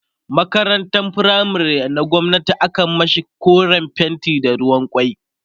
makarantan firamare na gwamnati akan mashi koren fenti da ruwan kwai